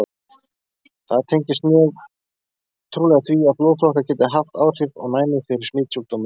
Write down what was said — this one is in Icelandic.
Það tengist mjög trúlega því, að blóðflokkar geta haft áhrif á næmi fyrir smitsjúkdómum.